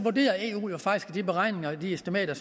de beregninger de estimater